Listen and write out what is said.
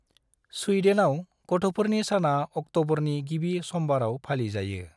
स्वीडेनआव गथफोरनि साना अक्टबरनि गिबि समबाराव फालि जायो।